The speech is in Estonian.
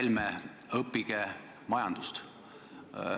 Härra Helme, õppige majandust!